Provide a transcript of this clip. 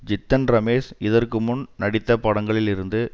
ஜித்தன் ரமேஷ் இதற்கு முன் நடித்த படங்களிலிருந்து